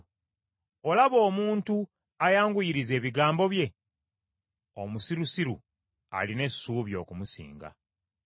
Olaba omuntu ayanguyiriza ebigambo bye? Omusirusiru alina essuubi okumusinga.